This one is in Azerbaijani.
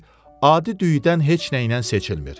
adi düyüdən heç nə ilə seçilmir.